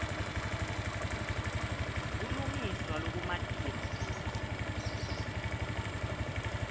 kulungiswa lokumatima futsi